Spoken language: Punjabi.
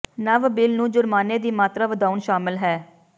ਨਵ ਬਿੱਲ ਨੂੰ ਜੁਰਮਾਨੇ ਦੀ ਮਾਤਰਾ ਵਧਾਉਣ ਸ਼ਾਮਲ ਹੈ